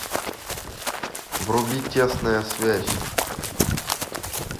вруби тесная связь